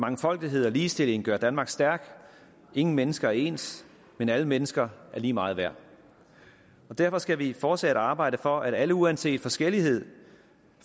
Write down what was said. mangfoldighed og ligestilling gør danmark stærkt ingen mennesker er ens men alle mennesker er lige meget værd derfor skal vi fortsat arbejde for at alle uanset forskellighed